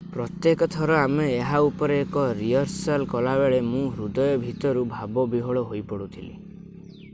ପ୍ରତ୍ୟେକ ଥର ଆମେ ଏହା ଉପରେ ଏକ ରିହର୍ସାଲ୍ କଲାବେଳେ ମୁଁ ହୃଦୟ ଭିତରୁ ଭାବ ବିହ୍ଵଳ ହେଇପଡୁଥିଲି